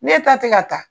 Ne ta tɛ ka taa